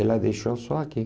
Ela deixou só aqui.